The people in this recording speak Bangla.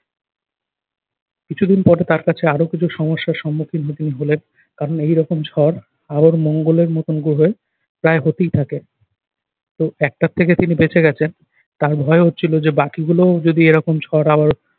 কিছুদিন পরে তার কাছে আরো কিছু সমস্যার সম্মুখীন তিনি হলেন কারণ এইরকম ঝড় আবার মঙ্গলের মতো গ্রহে প্রায় হতেই থাকে। তো একটা থেকে তিনি বেঁচে গেছেন তার ভয় হচ্ছিল যে বাকিগুলোও যদি এরকম ঝড় আবার